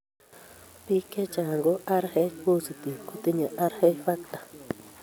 Biik chechang' ko Rh positive kotinye Rh factor